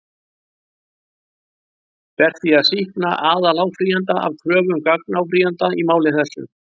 Ber því að sýkna aðaláfrýjanda af kröfum gagnáfrýjanda í máli þessu.